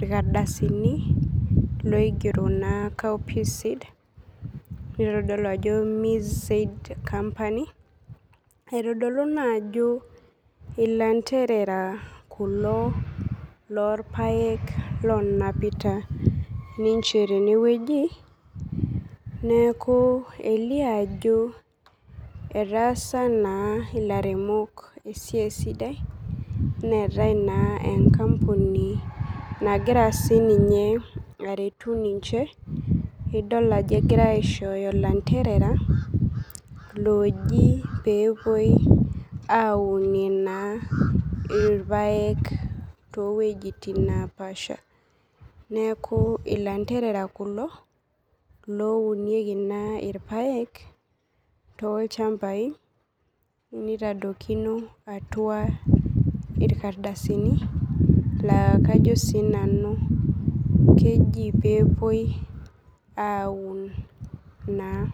irkardasini oigeto copsid nitodolu ajo misaid company aitodolu naajo ilanderea kulo lorpaek onapita ninche tenewueji neaku elio ajo etaasa na lairemok sipitali enkampuni nagira sininye aretu sininye egirai olanterea oji pepuoi ainuie naa irpaek towuejitin napaasha neaku ilanderera kulo ounieki irpaek tolchambai nitodokini atua irkardasini la kajo sinanu kejo pepuoi aaun naa .